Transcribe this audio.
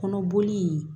Kɔnɔboli